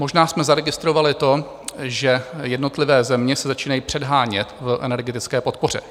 Možná jsme zaregistrovali to, že jednotlivé země se začínají předhánět v energetické podpoře.